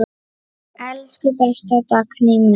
Elsku besta Dagný mín.